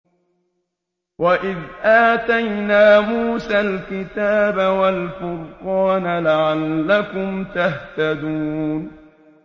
وَإِذْ آتَيْنَا مُوسَى الْكِتَابَ وَالْفُرْقَانَ لَعَلَّكُمْ تَهْتَدُونَ